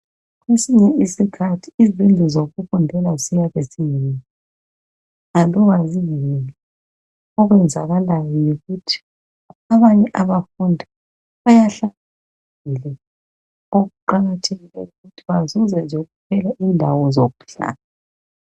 Kwesinye isikhathi izindlu zokufundela ziyabe zingekho laloba zingekho okwenzakalayo yikuthi abanye abafundi bayahlala phandle okuqakathekileyo nje yikuthi bathole izindawo zokuhlola.